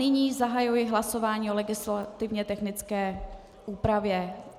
Nyní zahajuji hlasování o legislativně technické úpravě.